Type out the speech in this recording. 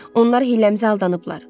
Onlar hiləmizə aldanıblar.